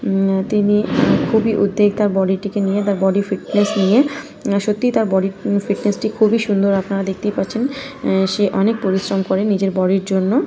উম তিনি খুবই উদ্বৃত্তিকা বডি টিকে নিয়ে তার বডি ফিটনেস নিয়ে না সত্যি তার ফিটনেস টি খুবই সুন্দর আপনারা দেখতেই পাচ্ছেন সে অনেক পরিশ্রম করে নিজের বডি র জন্য।